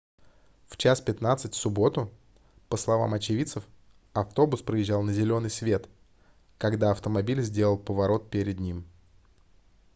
в 01:15 в субботу по словам очевидцев автобус проезжал на зелёный свет когда автомобиль сделал поворот перед ним